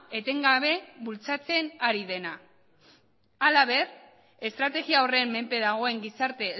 etengabe bultzatzen ari dena halaber estrategia horren menpe dagoen gizarte